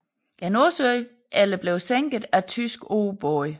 Nordsøen eller blev sænket af tyske ubåde